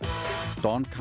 don